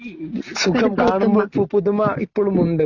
സുഖം കാണുമ്പോൾ പുതുമ ഇപ്പോഴുമുണ്ട്